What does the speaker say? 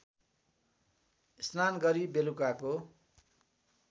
स्नान गरी बेलुकाको